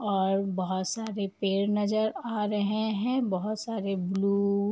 और बहोत सारे पेड़ नजर आ रहे हैं। बहोत सारे ब्लू --